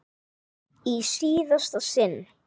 Í síðasta sinn.